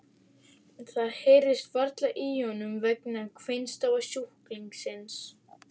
Það heyrðist varla í honum vegna kveinstafa sjúklingsins.